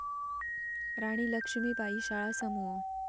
राणी लक्ष्मीबाई शाळा समूह